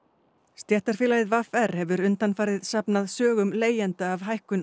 stéttarfélagið v r hefur undanfarið safnað sögum leigjenda af hækkun